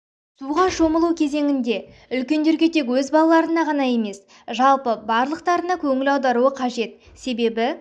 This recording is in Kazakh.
суға шомылу кезенінде үлкендерге тек өз балаларына ғана емес жалпы барлықтарына да көңіл аударуы қажет себебі